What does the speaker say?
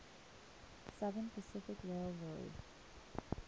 southern pacific railroad